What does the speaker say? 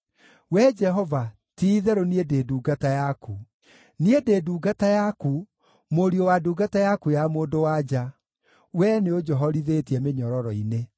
Wee Jehova, ti-itherũ niĩ ndĩ ndungata yaku; niĩ ndĩ ndungata yaku, mũriũ wa ndungata yaku ya mũndũ-wa-nja; wee nĩũnjohorithĩtie mĩnyororo-inĩ.